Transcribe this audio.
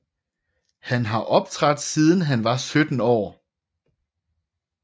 Han har optrådt siden han var 17 år